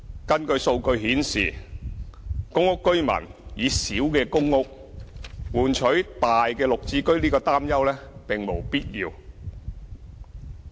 根據數據顯示，公屋居民以小的公屋換取大的"綠置居"的擔憂並無必要。